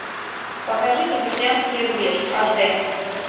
покажи тихоокеанский рубеж аш д